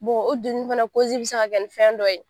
o donni fana bɛ se ka kɛ fɛn dɔ ye.